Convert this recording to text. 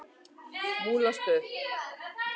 Múlastöðum